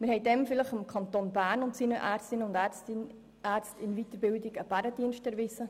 Wir haben damals vielleicht dem Kanton Bern und seinen Ärztinnen und Ärzten in Weiterbildung einen Bärendienst erwiesen.